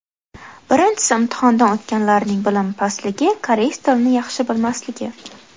Birinchisi imtihondan o‘tganlarning bilimi pastligi, koreys tilini yaxshi bilmasligi.